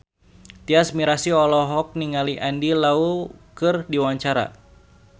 Tyas Mirasih olohok ningali Andy Lau keur diwawancara